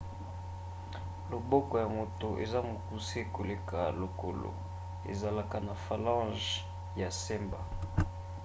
loboko ya moto eza mokuse koleka lokolo ezalaka na phalanges ya semba